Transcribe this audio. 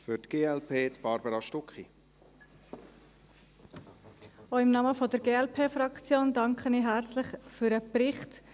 Auch im Namen der Glp-Fraktion danke ich herzlich für den Bericht.